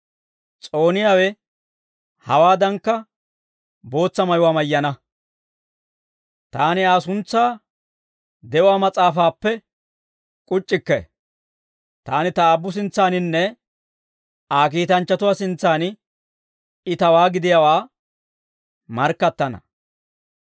S'ooniyaawe hewaaddankka bootsa mayuwaa mayyana. Taani Aa suntsaa de'uwaa mas'aafaappe k'uc'c'ikke; taani ta Aabbu sintsaaninne Aa kiitanchchatuwaa sintsan I tawaa gidiyaawaa markkattana.